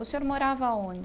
O senhor morava aonde?